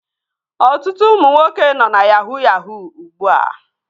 Ọtụtụ ụmụ nwoke nọ na yahuu yahuu ugbua